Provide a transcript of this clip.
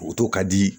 ka di